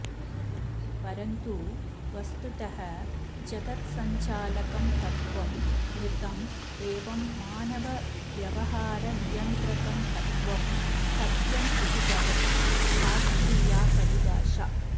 परन्तु वस्तुतः जगत्संचालकं तत्त्वम् ऋतम् एवं मानवव्यवहारनियन्त्रकं तत्त्वम् सत्यं इति भवति शास्त्रीया परिभाषा